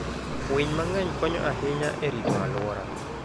Winy mang'eny konyo ahinya e rito alwora.